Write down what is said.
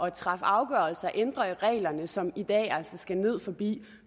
at træffe afgørelser at ændre i reglerne noget som i dag altså skal ned forbi